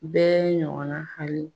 U bɛ ɲɔgɔn na hali